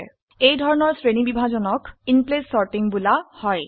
এই ধৰনৰ শ্ৰেণীবিভাজনক ইনপ্লেস সৰ্টিং বোলা হয়